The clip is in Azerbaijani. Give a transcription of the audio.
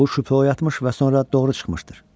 Bu şübhə oyatmış və sonra doğru çıxmışdır.